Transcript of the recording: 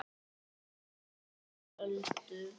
Sparkar Öldu.